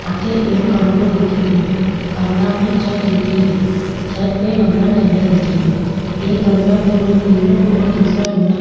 अठे एक कमरो दिखे रियो कमरा में छत दिखे री छत पे गमला टंगया दिखे रा एक गमला को रंग नीलो और दूसरा गमला --